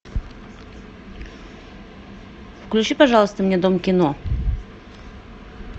включи пожалуйста мне дом кино